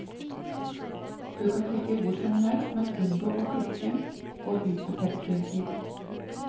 Du kan klikke hvor som helst, men unngå å klikke på hypertekstlinker.